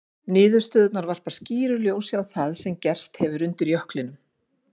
Niðurstöðurnar varpa skýru ljósi á það sem gerst hefur undir jöklinum.